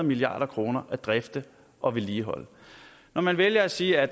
milliard kroner at drifte og vedligeholde når man vælger at sige at